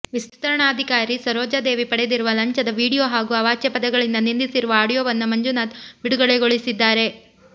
ವಿಸ್ತರಣಾಧಿಕಾರಿ ಸರೋಜಾದೇವಿ ಪಡೆದಿರುವ ಲಂಚದ ವಿಡಿಯೋ ಹಾಗೂ ಅವಾಚ್ಯ ಪದಗಳಿಂದ ನಿಂದಿಸಿರುವ ಆಡಿಯೋವನ್ನ ಮಂಜುನಾಥ್ ಬಿಡುಗಡೆಗೊಳಿಸಿದ್ದಾರೆ